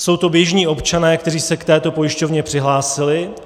Jsou to běžní občané, kteří se k této pojišťovně přihlásili.